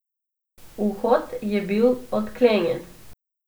Vhod je bil odklenjen.